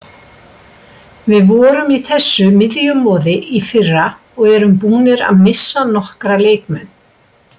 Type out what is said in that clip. Við vorum í þessu miðjumoði í fyrra og erum búnir að missa nokkra leikmenn.